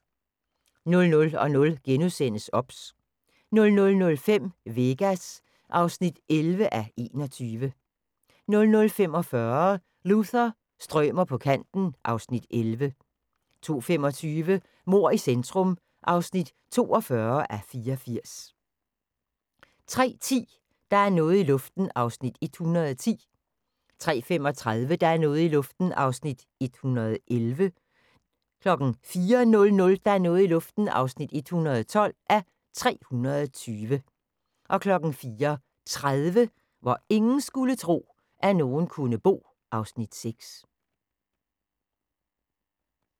00:00: OBS * 00:05: Vegas (11:21) 00:45: Luther – strømer på kanten (Afs. 11) 02:25: Mord i centrum (42:84) 03:10: Der er noget i luften (110:320) 03:35: Der er noget i luften (111:320) 04:00: Der er noget i luften (112:320) 04:30: Hvor ingen skulle tro, at nogen kunne bo (Afs. 6)